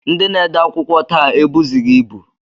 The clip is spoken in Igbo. Ndị na-ede akwụkwọ taa ebuzighị ibu